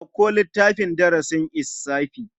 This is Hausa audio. Ɗauko littafin darasin lssafi.